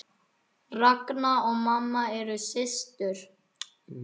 Ragna og mamma eru systur.